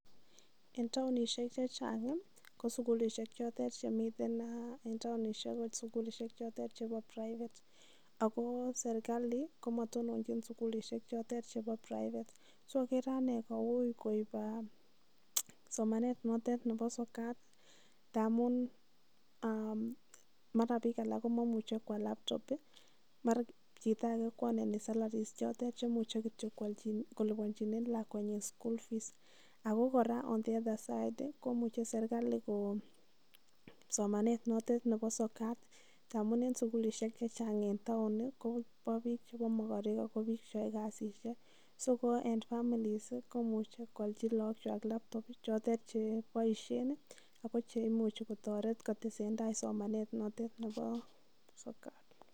En taonisgek che chang' i, kole sikulishek che chang' che mitei chotet eng taonishek ko sukilishek chotet chepo private ako sirkali ko matononchin sukilishek chotet chepo private. So akere ane ko ui koip somanet notet nepo sokat ndamun mara piik alak ko mamuchi ko al laptop i, mara chito age ko ale ko earnani salary chotet che muchi kityo kolipanchine lakwenyi school fees ako kora on the other side i , komuchi sirkali kokon somanet notet nepo sokat, ndamun eng' sukulishek che chang' en taon ko pa piik che makarek ako piil che yae kasishek. So ko eng' families komuchi ko alchi lagokwak laptop chotet che paishe ako che imuchi kotaret kotese somanet notet nepo sokat.